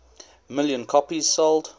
million copies sold